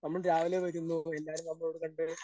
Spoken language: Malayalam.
നമ്മൾ രാവിലെ വരുന്നു, വൈകുന്നേരം ആകുമ്പോൾ ഇവിടെ രണ്ട്